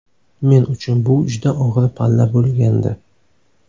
Men uchun bu juda og‘ir palla bo‘lgandi.